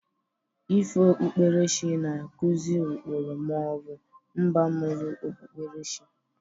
Ifo okpukperechi na-akụzị ụkpụrụ ma ọ bụ mbamụru okpukperechi.